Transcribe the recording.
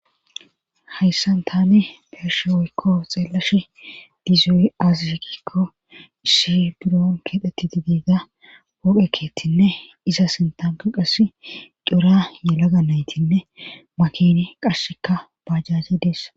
hayssan taane beeshe woykko xeellash dizui azishikikko ishi buron keedheti di diiga booqekeetinne iza sintanko qass cura yelaga naytinne makin qashsheka bajase deessa